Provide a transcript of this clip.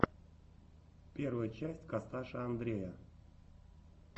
первая часть косташа андрея